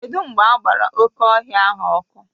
Kedụ mgbe agbara oké ọhịa ahụ ọkụ?